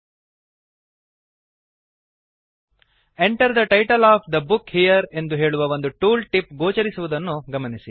Enter the title of the book here ಎಂದು ಹೇಳುವ ಒಂದು ಟೂಲ್ ಟಿಪ್ ಗೋಚರಿಸುವುದನ್ನು ಗಮನಿಸಿ